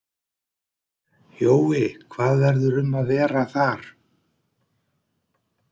Jói, hvað verður um að vera þar?